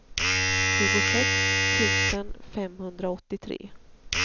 tjugosex tusen femhundraåttiotre